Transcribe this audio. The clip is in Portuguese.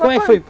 Como é que foi?